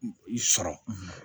I sɔrɔ